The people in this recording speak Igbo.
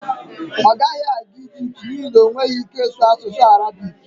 ọ gaghị aga Ijipt n'ihi na ọ nweghị ike ịsụ asụsụ Arabik